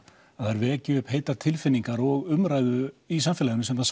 að þær vekji upp heitar tilfinningar og umræðu í samfélaginu sem það